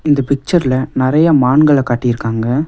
இந்த பிக்சர்ல நெறைய மான்கள காட்டிருக்காங்க.